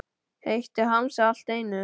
Heitt í hamsi allt í einu.